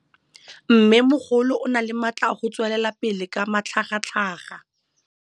Mmêmogolo o na le matla a go tswelela pele ka matlhagatlhaga.